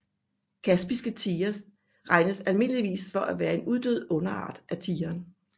Kaspiske tigre regnes almindeligvis for at være en uddød underart af tigeren